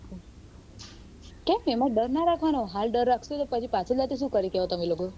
એમાં ડર ના રાખવાનો હાલ ડર રાખશો તો પાછળ જાતે શું કરી શકશો તમે લોકો